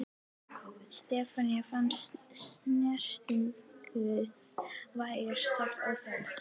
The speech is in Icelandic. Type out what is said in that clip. Stefáni fannst snertingin vægast sagt óþægileg.